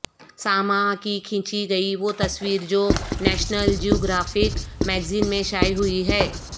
سماحہ کی کھینچی گئی وہ تصویر جو نیشنل جیوگرافک میگزین میں شائع ہوئی ہے